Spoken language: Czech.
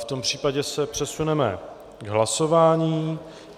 V tom případě se přesuneme k hlasování.